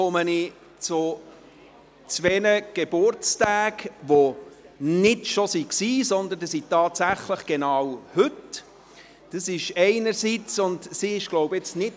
Ich komme zu zwei Geburtstagen, die nicht schon vorbei sind, sondern die tatsächlich genau heute sind, einerseits von Nicola von Greyerz von der SP.